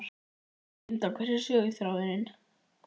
Linda: Hver er söguþráðurinn?